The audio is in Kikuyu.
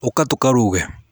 ũka tũkaruge.